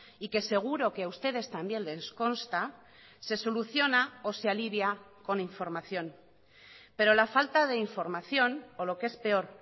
y que seguro que a ustedes también les consta se soluciona o se alivia con información pero la falta de información o lo que es peor